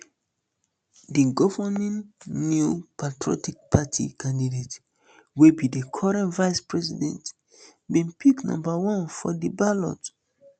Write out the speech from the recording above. di governing new patriotic party candidate wey be di current vice president bin pick number one for di ballot